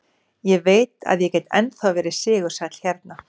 Ég veit að ég get ennþá verið sigursæll hérna.